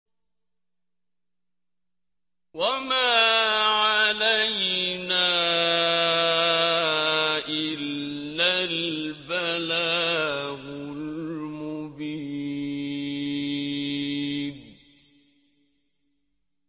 وَمَا عَلَيْنَا إِلَّا الْبَلَاغُ الْمُبِينُ